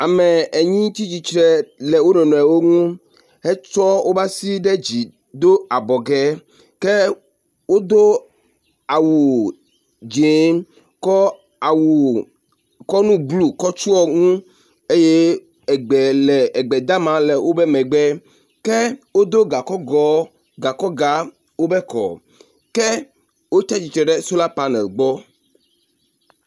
ame enyi tsitsìtre le wonɔnɔewo nu hetsɔ woƒeasi ɖe dzi dó abɔgɛ ke wodó awu dzĩ kɔ awu kɔ nu blu kɔ tsuɔŋu eye egbe le egbe dama le wobe megbe ke wodó gakɔgɔɔ gakɔga wobe kɔ̀ ke wotsiatsitsre ɖe sola panel gbɔ